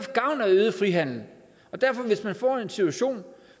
gavn af øget frihandel så hvis man får en situation